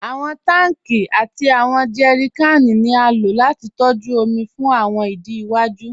Awọn tanki àti awọn jẹrìkànì ni a ló láti tọ̀jú omi fún awọn ìdí iwaju.